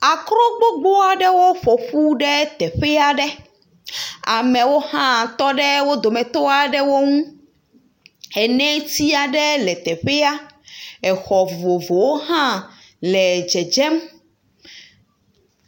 Akro gbogbo aɖewo ƒo ƒu ɖe teƒe aɖe. Amewo hã tɔ ɖe wo dometɔ aɖewo ŋu. Eneti aɖe le teƒea. Exɔ vovovowo hã le dzedzem.